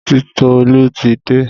Titolú ti dé.